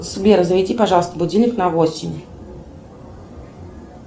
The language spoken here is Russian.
сбер заведи пожалуйста будильник на восемь